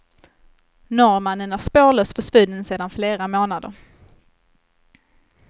Norrmannen är spårlöst försvunnen sedan flera månader.